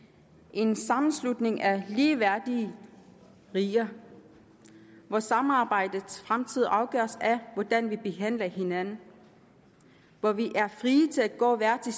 en sammenslutning af ligeværdige riger hvor samarbejdets fremtid afgøres af hvordan vi behandler hinanden og hvor vi er frie til at gå hver til